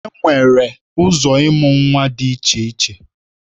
Enwere ụzọ ịmụ nwa dị iche iche